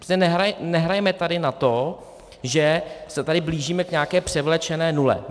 Prostě nehrajme tady na to, že se tady blížíme k nějaké převlečené nule.